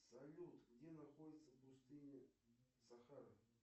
салют где находится пустыня сахара